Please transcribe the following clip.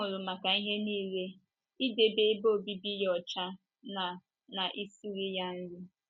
Ha hụrụ maka ihe nile, idebe ebe obibi ya ọcha na na ị siri ya nri.